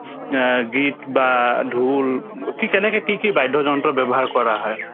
আ গীত বা ঢোল কি কেনেকে কি কি বাদ্যযন্ত্ৰ ব্যৱহাৰ কৰা হয়